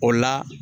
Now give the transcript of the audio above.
O la